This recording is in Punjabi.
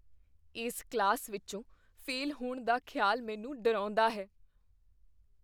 ਇਸ ਕਲਾਸ ਵਿੱਚੋਂ ਫੇਲ ਹੋਣ ਦਾ ਖਿਆਲ ਮੈਨੂੰ ਡਰਾਉਂਦਾ ਹੈ।